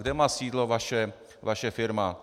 Kde má sídlo vaši firma?